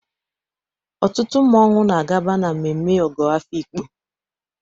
Ọtụtụ mmọnwụ na-agaba na mmemme Ogo Afikpo.